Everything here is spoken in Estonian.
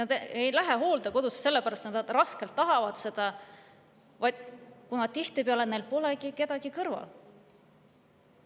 Nad ei lähe hooldekodusse selle pärast, et nad väga tahavad seda, vaid tihtipeale selle pärast, et neil pole kedagi kõrval.